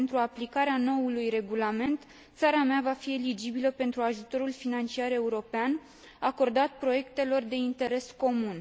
Pentru aplicarea noului regulament, țara mea va fi eligibilă pentru ajutorul financiar european acordat proiectelor de interes comun.